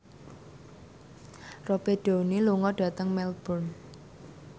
Robert Downey lunga dhateng Melbourne